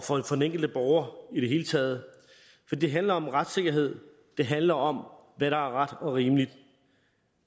for den enkelte borger i det hele taget for det handler om retssikkerhed det handler om hvad der er ret og rimeligt